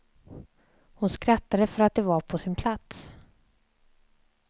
Hon skrattade för att det var på sin plats.